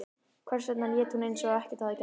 Hvers vegna lét hún eins og ekkert hefði gerst?